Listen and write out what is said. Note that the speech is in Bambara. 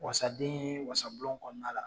Wasaden ye wasabulon kɔnɔna la.